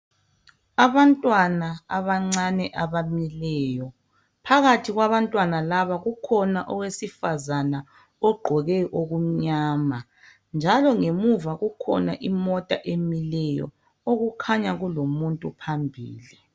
Abantwana abancane abamileyo. Phakathi kwabantwana laba kukhona owesifazana ogqoke okumnyama njalo ngemuva kukhona imota emileyo kulomuntu phambili.